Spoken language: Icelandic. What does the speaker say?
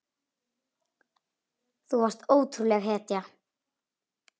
Þú varst ótrúleg hetja.